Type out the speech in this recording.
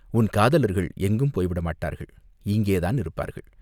உன் காதலர்கள் எங்கும் போய்விடமாட்டார்கள் இங்கேதான் இருப்பார்கள்.